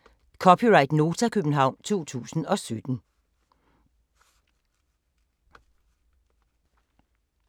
(c) Nota, København 2017